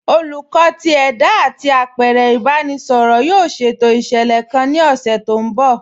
Olùkọ̀ tì ẹda àti apẹ̀rẹ̀ ìbàráẹnisọ̀rọ̀ yóò ṣétò iṣẹ́lẹ̀ kàn ní ọṣẹ̀ tó nbọ̀.